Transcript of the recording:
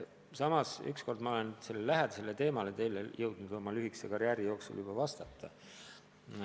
Samas, üks kord ma olen oma lühikese karjääri jooksul sellel teemal teile jõudnud juba vastata.